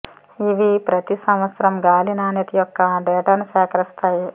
ఇవి ప్రతి సంవత్సరం గాలి నాణ్యత యొక్క డేటాను సేకరిస్తాయి